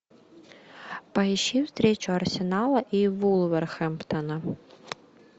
поищи встречу арсенала и вулверхэмптона